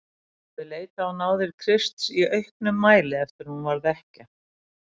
Hún hafði leitað á náðir Krists í auknum mæli eftir að hún varð ekkja.